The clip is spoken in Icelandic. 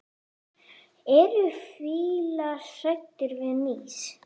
Eru fílar hræddir við mýs?